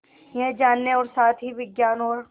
यह जानने और साथ ही विज्ञान और